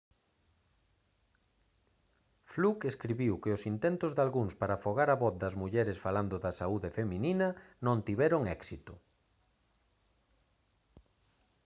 fluke escribiu que os intentos dalgúns para afogar a voz das mulleres falando da saúde feminina non tiveron éxito